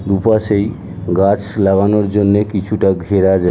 দুপাশেই গাছ লাগানোর জন্যে কিছুটা ঘেরা জায়--